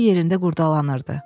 O yerində qurdalanırdı.